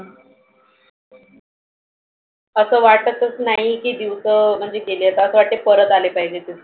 आसं वाटच नाही की दिवसं म्हणजे गेलेत असं वाटत परत आले पाहिजे.